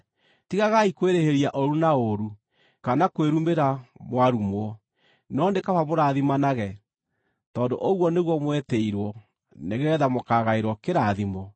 Tigagai kwĩrĩhĩria ũũru na ũũru, kana kwĩrumĩra mwarumwo, no nĩ kaba mũrathimanage, tondũ ũguo nĩguo mwetĩirwo, nĩgeetha mũkaagaĩrwo kĩrathimo.